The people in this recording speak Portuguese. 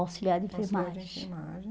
Auxiliar de Enfermagem. Auxiliar de enfermagem.